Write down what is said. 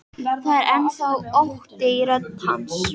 Það er enn þá ótti í rödd hans.